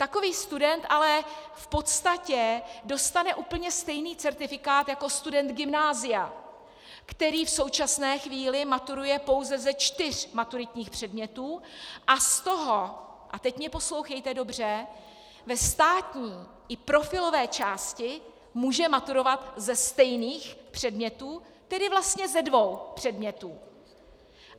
Takový student ale v podstatě dostane úplně stejný certifikát jako student gymnázia, který v současné chvíli maturuje pouze ze čtyř maturitních předmětů a z toho - a teď mě poslouchejte dobře - ve státní i profilové části může maturovat ze stejných předmětů, tedy vlastně ze dvou předmětů.